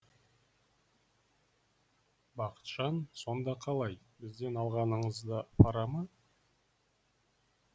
бақытжан сонда қалай бізден алғаныңыз да пара ма